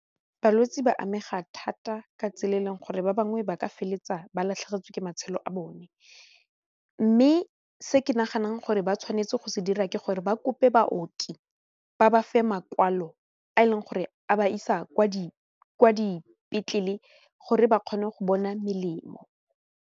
Balwetse ba amega thata ka tsela e e leng gore ba bangwe ba ka feleletsa ba latlhegetswe ke matshelo a bone mme se ke naganang gore ba tshwanetse go se dira ke gore ba kope baoki ba bafe makwalo a e leng gore a ba isa kwa dipetlele gore ba kgone go bona melemo.